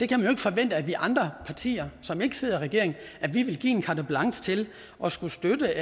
jo ikke forvente at vi andre partier som ikke sidder i regering vil give carte blanche til at skulle støtte